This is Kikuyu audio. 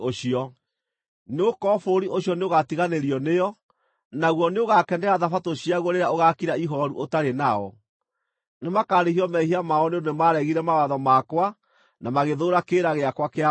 Nĩgũkorwo bũrũri ũcio nĩũgatiganĩrio nĩo, naguo nĩũgakenera Thabatũ ciaguo rĩrĩa ũgaakira ihooru ũtarĩ nao. Nĩmakarĩhio mehia mao nĩ ũndũ nĩmaregire mawatho makwa na magĩthũũra kĩrĩra gĩakwa kĩa watho.